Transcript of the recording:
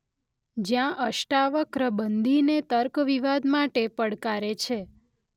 જયાં અષ્ટાવક્ર બંદીને તર્ક વિવાદ માટે પડકારે છે.